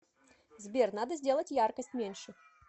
сбер надо сделать яркость меньше